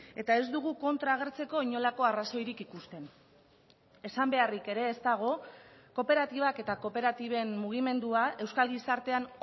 eta ez dugu kontra agertzeko inolako arrazoirik ikusten esan beharrik ere ez dago kooperatibak eta kooperatiben mugimendua euskal gizartean